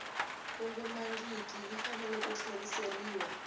kongomangiki yi fanele ku tlheriseriwa